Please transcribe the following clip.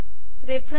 reference